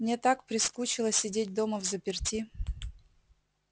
мне так прискучило сидеть дома взаперти